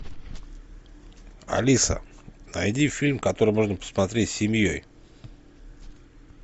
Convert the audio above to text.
алиса найди фильм который можно посмотреть с семьей